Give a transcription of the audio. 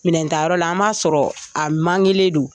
Minɛn tayɔrɔ la an m'a sɔrɔ a mankelen don.